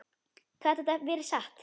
Gat þetta verið satt?